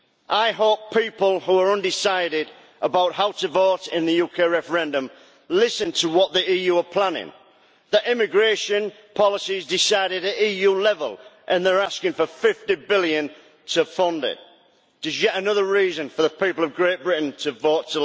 I hope people who are undecided about how to vote in the UK referendum listen to what the EU are planning, that immigration policy is decided at EU level and they are asking for EUR 50 billion to fund it. It is yet another reason for the people of Great Britain to vote